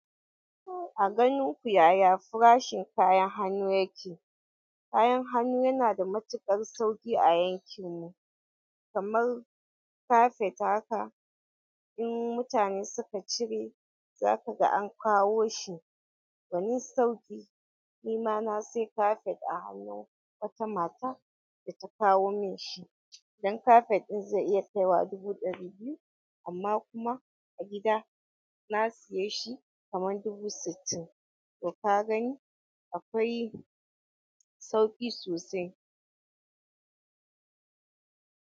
A ganin ku yaya farashin kayan hannu yake? Kayan hannu yanada matuƙar sauƙi a yankinmu, kamar kafet haka. In mutane suka cire, za kaga an kawo shi. Gwanin sauƙi, nima na sayi kafet a hannun wata mata da ta kawo min shi. Dan kafet ɗin zai iya kai wa dubu ɗari biyu amma kuma a gida na saye shi kamar dubu sittin. To ka gani akwai sauƙi sosai.